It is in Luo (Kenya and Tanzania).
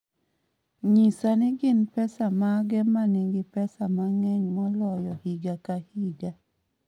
nyisa ni gin pesa mage ma nigi pesa mang�eny moloyo higa ka higa